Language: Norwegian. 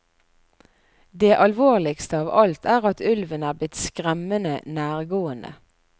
Det alvorligste av alt er at ulven er blitt skremmende nærgående.